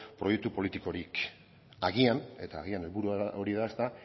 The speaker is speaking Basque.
proiektu politikorik agian eta agian helburua hori da ezta